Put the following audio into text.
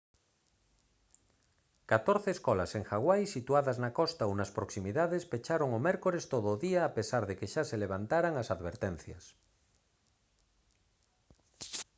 catorce escolas en hawai situadas na costa ou nas proximidades pecharon o mércores todo o día a pesar de que xa se levantaran as advertencias